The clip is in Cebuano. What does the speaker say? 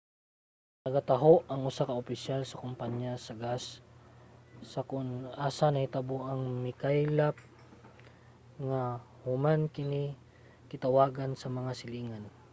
nagataho ang usa ka opisyal sa kumpanya sa gas sa kon asa nahitabo ang mikaylap nga gas human kini gitawagan sa mga silingan